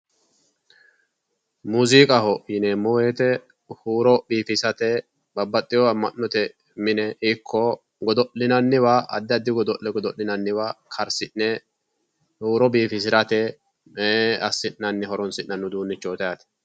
Muuziiqaho yineemmo woyite huuro biifisate babbaxxeyoowa amma'note mine ikko godo'linanniwa addi addi godo'le godo'linanniwa karsi'ne huuro biifisirate assi'nanni horoonsi'nanni uduunnichooti yaate.